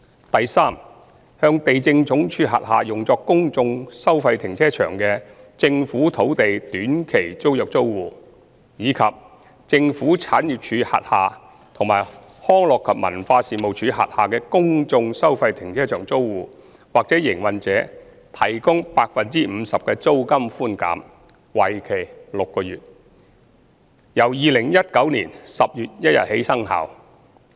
第三，向地政總署轄下用作公眾收費停車場的政府土地短期租約租戶，以及政府產業署轄下和康樂及文化事務署轄下公眾收費停車場租戶或營運者提供 50% 的租金寬減，為期6個月，由2019年10月1日起生效。